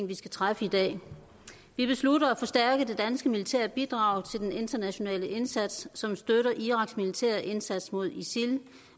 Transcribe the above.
vi skal træffe i dag vi beslutter at forstærke det danske militære bidrag til den internationale indsats som støtter iraks militære indsats mod isil